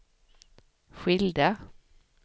skilda